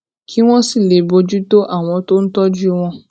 kí wón sì lè bójú tó àwọn tó ń tójú wọn